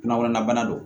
Kunnakɔnɔna don